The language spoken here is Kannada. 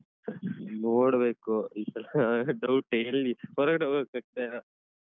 ನೋಡ್ಬೇಕು. ಈ ಸಲ doubt ಯೇ ಎಲ್ಲಿ ಹೊರಗಡೆ ಹೋಗಕ್ಕಾಗ್ತಾ ಇಲ್ಲ.